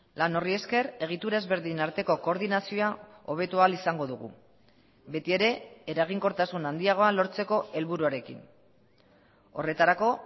lan horri esker egitura ezberdin arteko koordinazioa hobeto ahal izango dugu betiere eraginkortasun handiagoa lortzeko helburuarekin horretarako